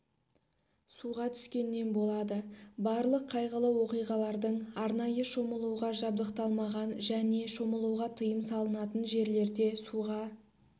суға түскеннен болады барлық қайғылы оқиғалардың арнайы шомылуға жабдықталмаған және шомылуға тиым салынатын жерлерде суға